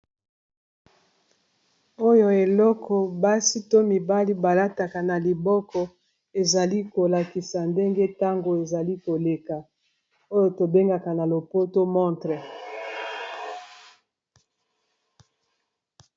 Oyo eloko basi to mibali balataka na liboko ezali kolakisa ndenge ntango ezali koleka oyo tobengaka na lopoto montre.